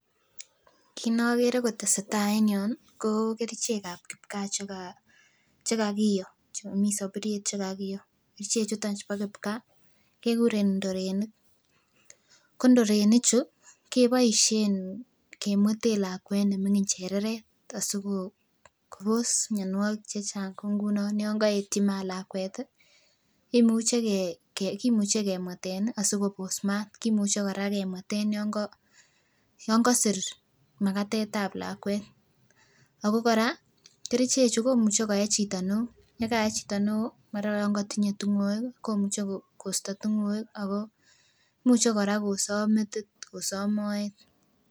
Kit ne okere kotesetai en yon nii koo kerichek ab kipkaa chekaa chekakiyo chemii soburyet chekakiyo. Kerichek chuton chubo kipgaa kekuren ndorenik, ko ndorenik chuu keboishen kemweten lakwet nemingin chereret asikobos mionwokik chechang kot ngunon yon koetyi maat lakwet tii kimuche Kee kimuche kemweten Nii asikobos maat, kimuche Koraa kemweten yon kosir makatet tab lakwet ako Koraa kerichek chuu komuche koyee cheito neo yekae chito neo mara kokotinye tingoek komuche kosto tingoek ako muche Koraa kosob metit, kosob moet.